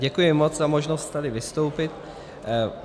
Děkuji moc za možnost tady vystoupit.